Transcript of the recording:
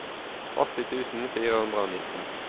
åtti tusen fire hundre og nitten